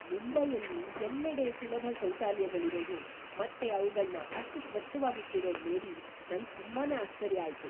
ಮುಂಬೈಯಲ್ಲಿ ಎಲ್ಲೆಡೆ ಸುಲಭ ಶೌಚಾಲಯಗಳಿರೋದು ಮತ್ತೆ ಅವ್ಗಳ್ನ ಅಷ್ಟ್‌ ಸ್ವಚ್ಛವಾಗಿಟ್ಟಿರೋದ್‌ ನೋಡಿ ನಂಗ್‌ ತುಂಬಾನೇ ಆಶ್ಚರ್ಯ ಆಯ್ತು.